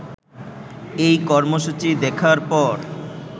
এই কর্মসূচি দেখার পর